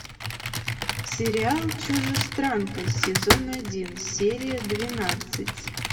сериал чужестранка сезон один серия двенадцать